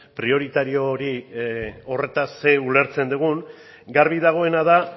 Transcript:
prioritario horretaz zer ulertzen dugun garbi dagoena da